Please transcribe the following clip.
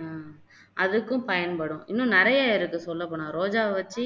ஆஹ் அதுக்கும் பயன்படும் இன்னும் நிறைய இருக்கு சொல்லப்போனா ரோஜாவை வச்சு